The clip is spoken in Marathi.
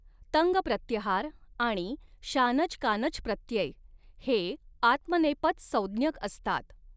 तङ् प्रत्यहार आणि शानच कानचप्रत्यय हे आत्मनेपद संज्ञक असतात.